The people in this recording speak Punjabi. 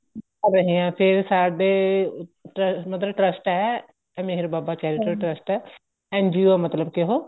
ਕਰ ਰਹੇ ਹਾਂ ਫ਼ੇਰ ਸਾਡੇ ਮਤਲਬ trust ਏ Meher Baba charitable trust NGO ਆ ਮਤਲਬ ਕੇ ਉਹ